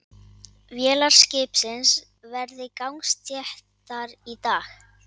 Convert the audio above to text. Vélar skipsins verði gangsettar í dag